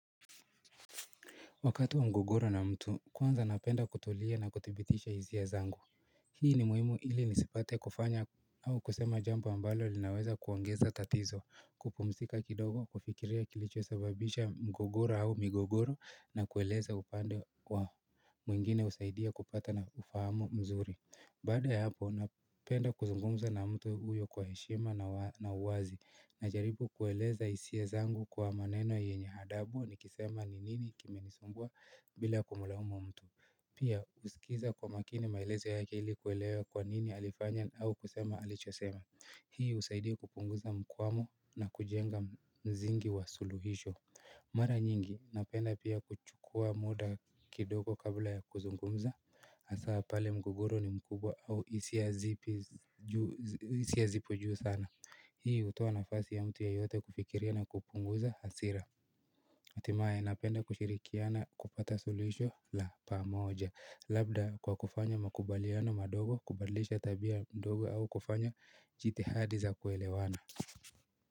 Wakati wa mgogoro na mtu kwanza napenda kutulia na kuthibitisha hisia zangu Hii ni muhimu ili nisipate kufanya au kusema jambo ambalo linaweza kuongeza tatizo kupumzika kindogo kufikiria kilichosababisha mgogoro au migogoro na kueleza upande wa mwingine husaidia kupata na kufahamu mzuri Baada ya hapo, napenda kuzungumza na mtu huyo kwa heshima na uwazi Najaribu kueleza hisia zangu kwa maneno yenye adabu nikisema ni nini kimenisumbua bila kumulaumu mtu Pia, husikiza kwa makini maelezo yake ili kuelewa kwa nini alifanya au kusema alichosema Hii husaidia kupunguza mkwamo na kujenga msingi wa suluhisho Mara nyingi, napenda pia kuchukua muda kindogo kabla ya kuzungumza Hasa pale mgogoro ni mkubwa au hisia zipo juu sana Hii hutoa nafasi ya mtu yeyote kufikiria na kupunguza hasira Hatimaye napenda kushirikiana kupata suluhisho la pamoja Labda kwa kufanya makubaliano madogo kubadlisha tabia mdogo au kufanya jitihadi za kuelewana.